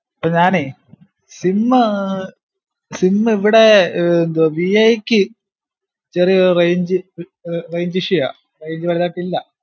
ഇപ്പൊ ഞാനേ sim ഏർ sim ഇവ്ടെ ന്തുആ വി ഐ ക്ക് ചെറിയൊ ഏർ range ഏർ range issue ആ range വലുതായിട്ടില്ല